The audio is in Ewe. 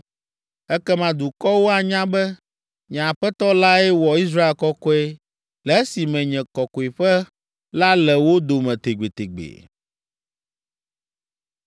Ekema dukɔwo anya be, nye Aƒetɔ lae wɔ Israel kɔkɔe le esime nye Kɔkɔeƒe la le wo dome tegbetegbe.’ ”